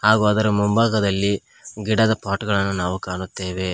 ಹಾಗಾದರೆ ಮುಂಭಾಗದಲ್ಲಿ ಗಿಡದ ಪಾಟ್ ಗಳನ್ನು ನಾವು ಕಾಣುತ್ತೇವೆ.